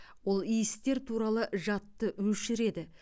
ол иістер туралы жадты өшіреді